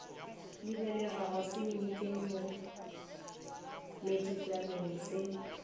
lebelelwago semetseng mo metsotswaneng se